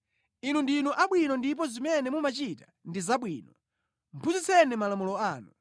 Inu ndinu abwino ndipo zimene mumachita ndi zabwino; phunzitseni malamulo anu.